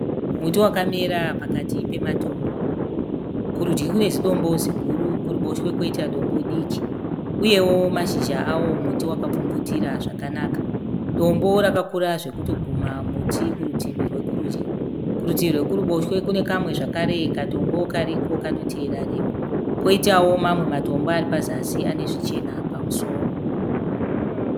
Muti wakamera pakati pematombo. Kurudyi kune zidombo ziguru kuruboshwe koita dombo diki uye mashizha emuti akapfumvutira zvakanaka. Dombo rakakura zvekutoguma muti kurutivi rwokurudyi. Kurutivi rwekuruboshwe kune kamwe zvakare katombo kariko kanotevera rimwe. Koitawo mamwe matombo ari pazasi ane zvichena pamusoro.